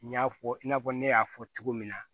N y'a fɔ i n'a fɔ ne y'a fɔ cogo min na